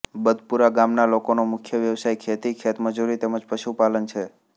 બદપુરા ગામના લોકોનો મુખ્ય વ્યવસાય ખેતી ખેતમજૂરી તેમ જ પશુપાલન છે